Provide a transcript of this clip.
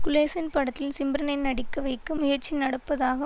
குலேசன் படத்தில் சிம்ரனை நடிக்க வைக்க முயற்சி நடப்பதாக